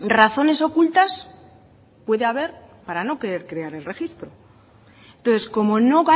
razones ocultas puede haber para no querer crear el registro entonces como no